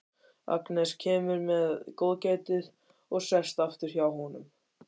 Agnes kemur með góðgætið og sest aftur hjá honum.